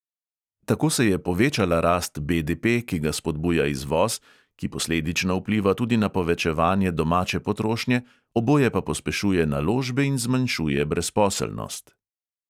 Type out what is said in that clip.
Tako se je povečala rast BDP, ki ga spodbuja izvoz, ki posledično vpliva tudi na povečevanje domače potrošnje, oboje pa pospešuje naložbe in zmanjšuje brezposelnost.